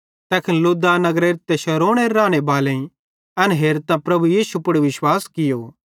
तैखन लुद्दा नगरेरे ते शारोनेरे राने बालेईं एन हेरतां प्रभु यीशु पुड़ विश्वास कियो